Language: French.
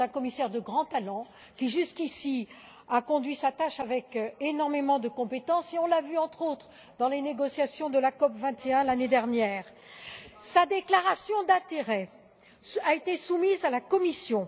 C'est un commissaire de grand talent qui, jusqu'ici, a conduit sa tâche avec énormément de compétence, comme on a pu le voir, entre autres, lors des négociations de la COP 21 l'année dernière. Sa déclaration d'intérêts a été soumise à la Commission.